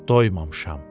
Doymamışam.